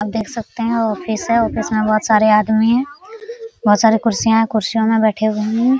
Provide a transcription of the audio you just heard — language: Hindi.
आप देख सकते हैं ऑफिस है ऑफिस में बहुत सारे आदमी हैं बहुत सारे कुर्सियां हैं कुर्सियों में बैठे हैं।